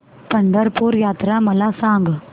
पंढरपूर यात्रा मला सांग